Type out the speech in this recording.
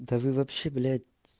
да вы вообще блять